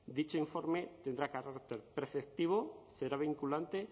dicho informe tendrá carácter preceptivo será vinculante